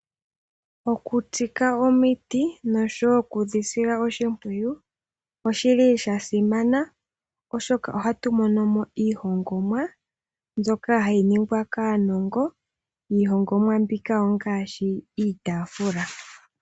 Okutsika omiti noshowo okudhi sila oshipwiyu osha simana oshoka ohatu mono mo iihongomwa mbyoka hayi ningwa kaanongo. Iihongomwa mbika ongaashi iitaafula.